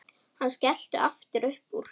Hann skellti aftur upp úr.